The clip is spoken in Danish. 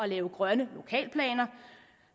lave grønne lokalplaner